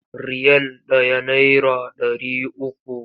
Riyal ɗaya naira ɗari uku.